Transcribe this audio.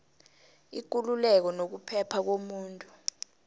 ikululeko nokuphepha komuntu